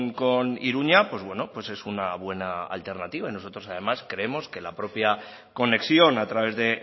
con iruña pues bueno es una buena alternativa y nosotros además creemos que la propia conexión a través de